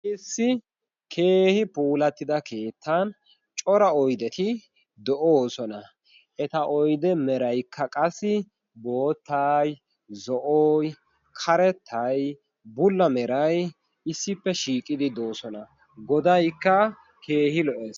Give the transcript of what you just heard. Issi keehi puulattida keettan cora oydeti de'oosona. Eta oyde meraykka qassi boottay, zo"oy, karettay, bulla meray issippe shiiqidi doosona. Godaykka keehi lo"es.